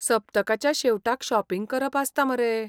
सप्तकाच्या शेवटाक शॉपिंग करप आसता मरे!